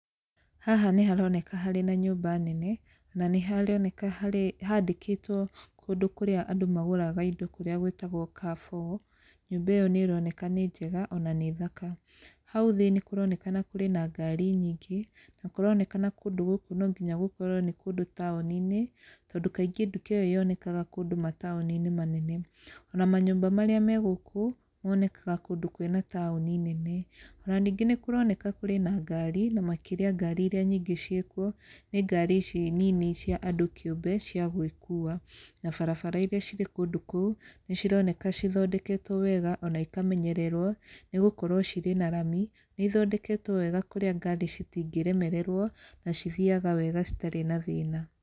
Haha nĩ haroneka harĩ na nyũmba nene, na nĩ haroneka harĩ handĩkĩtwo kũndũ kũrĩa andũ magũraga indo kũrĩa gwĩtagwo Carrefour. Nyũmba ĩyo nĩ ĩroneka nĩ njega ona nĩ thaka. Hau thĩ nĩ kũronekana kũrĩ na ngari nyingĩ, na kũronekana kũndũ gũkũ no nginya gũkorwo nĩ kũndũ taũni-inĩ, tondũ kaingĩ nduka ĩyo yonekaga kũndũ mataũni-inĩ manene. Ona manyũmba marĩa me gũkũ, monekaga kũndũ kwĩna taũni nene. Ona ningĩ nĩ kũroneka kũrĩ na ngari, na makĩria ngari irĩa nyingĩ ciĩkuo nĩ ngari ici nini cia andũ kĩũmbe cia gwĩkuua. Na barabara irĩa cirĩ kũndũ kũu, nĩ cironeka cithondeketwo wega ona ikamenyererwo nĩ gũkorwo cirĩ na rami nĩ ithondeketwo wega kũrĩa ngari citingĩremererwo na cithiaga wega citarĩ na thĩna.